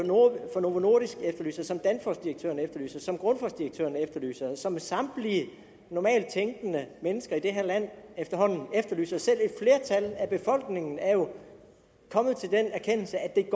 fra novo nordisk efterlyser som danfossdirektøren efterlyser som grundfosdirektøren efterlyser og som samtlige normalt tænkende mennesker i det her land efterhånden efterlyser selv et flertal af befolkningen er jo kommet til den erkendelse at